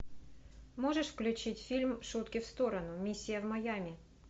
можешь включить фильм шутки в сторону миссия в майами